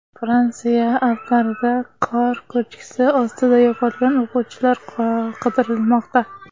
Fransiya Alplarida qor ko‘chkisi ostida yo‘qolgan o‘quvchilar qidirilmoqda.